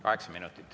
Kaheksa minutit.